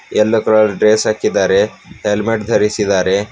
ಎಲ್ಲೋ colour dress ಹಾಕಿದ್ದಾರೆ helmet ಧರಿಸಿದರೆ.